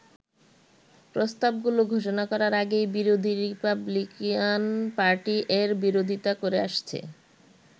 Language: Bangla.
প্রস্তাব গুলো ঘোষণা করার আগেই বিরোধী রিপাবলিকান পার্টি এর বিরোধিতা করে আসছে।